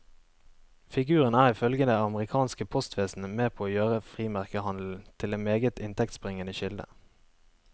Figuren er ifølge det amerikanske postvesenet med på å gjøre frimerkehandelen til en meget inntektsbringende kilde.